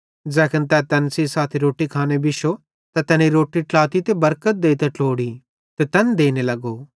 ज़ैखन तै तैन सेइं साथी रोट्टी खांने बिश्शो त तैनी रोट्टी ट्लाती ते बरकत देइतां ट्लोड़ी ते तैन देने लगो